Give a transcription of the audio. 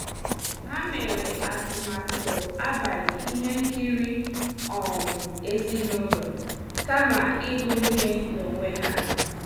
Ha mere atụmatụ abalị ihe nkiri um ezinụlọ kama ịgụ ihe n'onwe ha.